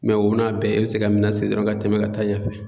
o n'a bɛɛ e bi se ka mina siri dɔrɔn ka tɛmɛ ka taa ɲɛfɛ